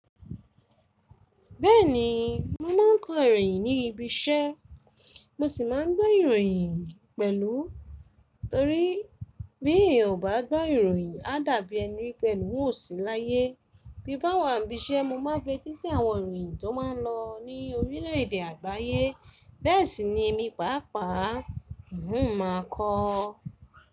Bẹ́ẹ̀ni, mo máa ń kọ́ ìròyìn ní ibi-iṣẹ́, mo sì máa ń gbọ́ ìròyìn pẹ̀lú. Torí bí ò bá gbọ́ ìròyìn, á dàbí ẹni pẹ̀lú ò sì láyé. Bí bá wà ní ibi-iṣẹ́, mo máa fi etí si àwọn ìròyìn tó máa lọ ní orílẹ̀-èdè àgbáyé. Bẹ́ẹ̀ sì ni èmi pàápàá, n ò máa kọ.